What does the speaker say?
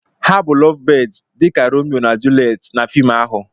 Ha bụ lovebirds dị ka Romeo na Juleti na fim ahụ.